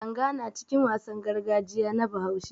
Langa na cikin wasan gargajiya na Bahaushe.